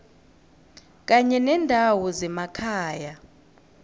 kanye nendawo zemakhaya